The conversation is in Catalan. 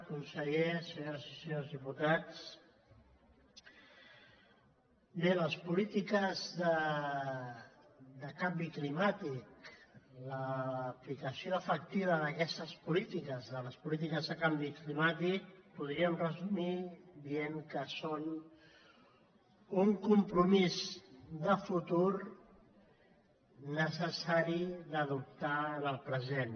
conseller senyores i senyors diputats bé les polítiques de canvi climàtic l’aplicació efectiva d’aquestes polítiques de les polítiques de canvi climàtic podríem resumir ho dient que són un compromís de futur necessari d’adoptar en el present